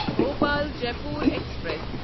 Bhopal Jaipur express